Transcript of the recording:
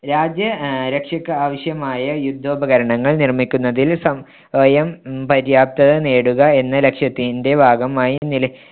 രാജ്യ ആഹ് രക്ഷയ്ക്ക് ആവശ്യമായ യുദ്ധോപകരണങ്ങൾ നിർമ്മിക്കുന്നതിൽ സ്വ~യം ഉം പര്യാപ്തത നേടുക എന്ന ലക്ഷ്യത്തിന്‍ടെ ഭാഗമായി നില~